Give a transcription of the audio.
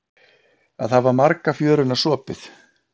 Að hafa marga fjöruna sopið